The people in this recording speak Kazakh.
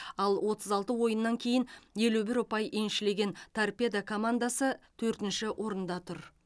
ал отыз алты ойыннан кейін елу бір ұпай еншілеген торпедо командасы төртінші орында тұр